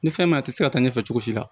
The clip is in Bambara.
Ni fɛn ma ye a tɛ se ka taa ɲɛfɛ cogo si la